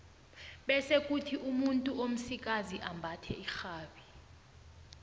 bese kuthi umuntu omsikazi ambathe irhabi